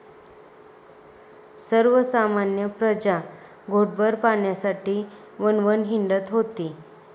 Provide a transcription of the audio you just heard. सर्वसामान्य प्रजा घोटभर पाण्यासाठी वणवण हिंडत होती.